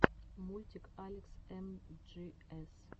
мультик алекс эмджиэс